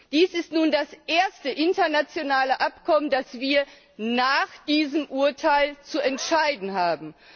Dies ist nun das erste internationale Abkommen, das wir nach diesem Urteil zu entscheiden haben.